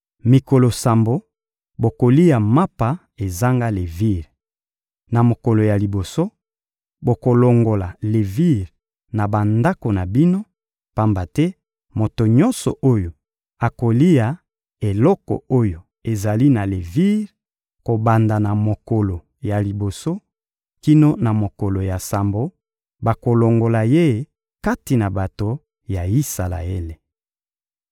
Mikolo sambo, bokolia mapa ezanga levire. Na mokolo ya liboso, bokolongola levire na bandako na bino; pamba te moto nyonso oyo akolia eloko oyo ezali na levire, kobanda na mokolo ya liboso kino na mokolo ya sambo, bakolongola ye kati na bato ya Isalaele.